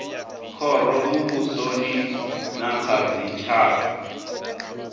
khoro muvhusoni na kha dzitshaka